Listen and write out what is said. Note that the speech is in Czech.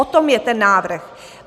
O tom je ten návrh.